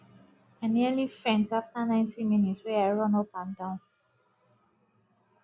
i nearly faint after 90 minutes wey i run up and down